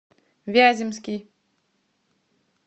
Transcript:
вяземский